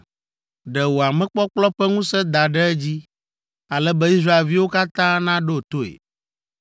Ɖe wò amekpɔkplɔ ƒe ŋusẽ da ɖe edzi ale be Israelviwo katã naɖo toe.